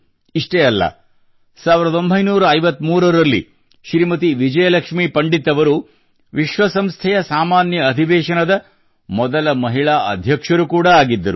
ಇಷ್ಟೇ ಅಲ್ಲ 1953 ರಲ್ಲಿ ಶ್ರೀಮತಿ ವಿಜಯಲಕ್ಷ್ಮಿ ಪಂಡಿತ್ ಅವರು ವಿಶ್ವಸಂಸ್ಥೆಯ ಸಾಮಾನ್ಯ ಅಧಿವೇಶನದ ಮೊದಲ ಮಹಿಳಾ ಅಧ್ಯಕ್ಷರು ಕೂಡಾ ಆಗಿದ್ದರು